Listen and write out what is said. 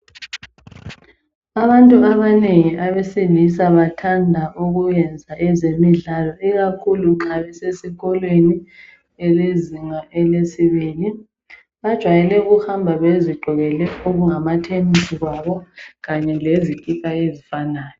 Abantu abanengi abesilisa bathanda ukuyenza ezemidlalo ikakhulu nxa besesikolweni elezinga elesibili. Bajwayela ukuhamba bezigqokele okungamathenisi kwabo kanye lezikipa ezifanayo.